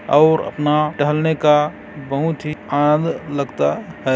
अऊ अपना टहलने का बहुत ही आन लगता हैं।